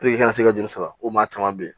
i ka se ka juru sɔrɔ o maa caman be yen